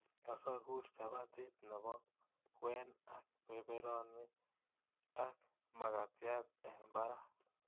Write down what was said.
Asogur chapatit nebo kwen ak beberoni ak magatiat eng barak